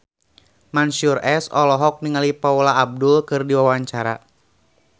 Mansyur S olohok ningali Paula Abdul keur diwawancara